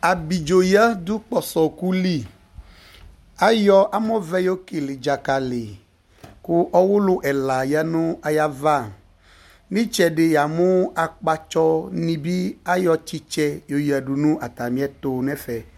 Abidzoyǝ dʋ kpɔsɔɔkʋ li , ayɔ amɔvɛ yo kele dzakali kʋ ,ɔʋlʋ ɛla yǝ nʋ ayava N'ɩtsɛdɩ yamʋ akpatsɔ nɩ bɩ ayɔ tsɩtsɛ yo yǝdu nʋ atamɩɛtʋ n'ɛfɛ